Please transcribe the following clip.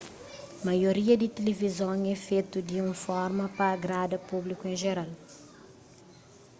maioria di tilivizon é fetu di un forma pa agrada públiku en jeral